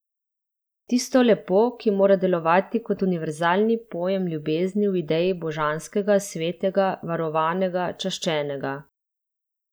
Tisto lepo, ki mora delovati kot univerzalni pojem ljubezni v ideji božanskega, svetega, varovanega, čaščenega.